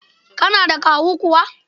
Kana da kawu kuwa?